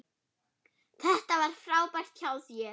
Þetta var frábært hjá þér!